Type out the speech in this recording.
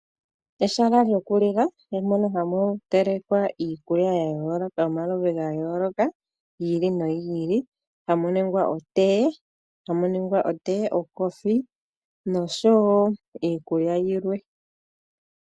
Ehala lyoku lila mono hamu telekwa iikulya yomaludhi ga yooloka gi ili nogi ili, hamuningwa otee, okoothiwa noshowo iikulya yilwe.